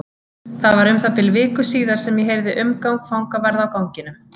Það var um það bil viku síðar sem ég heyrði umgang fangavarða á ganginum.